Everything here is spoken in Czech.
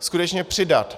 Skutečně přidat.